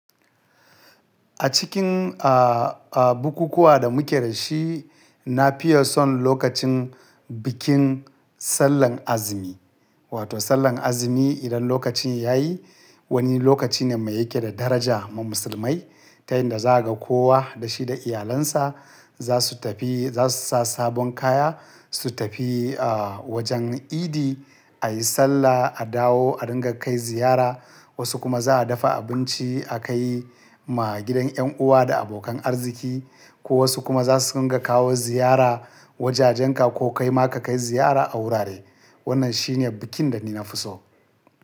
A cikin, a, a bukukuwa da muke da shi, na fiye son lokacin bikin Sallan Azumi. Wato Sallan Azumi idan lokacin ya yi, wani lokaci ne mai yake da daraja ma musulmai. Ta yanda za ka kowa da shi da iyalansa, za su tafi, za su sa sabon kaya, su tafi, a, wajen idi a yi Sallah, a dawo, a ringa kai ziyara. Wasu kuma za a dafa abinci a kai ma gidan yan uwa da abokan arziki ko wasu kuma za su ringa kawo ziyara wajajenka ko kai ma ka kai ziyara a wurare. Wannan shi ne bikin da ni na fi so.